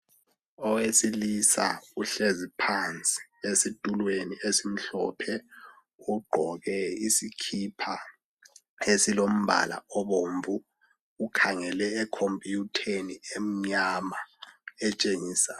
Owesilisa uhlezi phansi, esitulweni esimhlophe. Ugqoke isikipa esilombala obomvu. Ukhangele ekhompuyutheni emnyama, Etshengisa